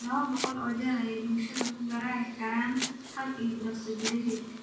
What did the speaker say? Laba boqol oo jeer ayay baalashooda ku garaaci karaan hal ilbiriqsi gudaheed.